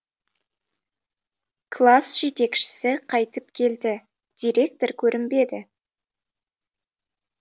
класс жетекшісі қайтып келді директор көрінбеді